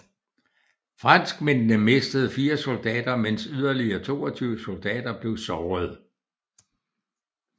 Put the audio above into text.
Franskmændene mistede 4 soldater mens yderligere 22 soldater blev sårede